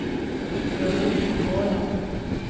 Veronica Håland